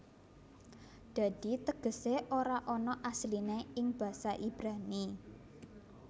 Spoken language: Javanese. Dadi tegesé ora ana asliné ing basa Ibrani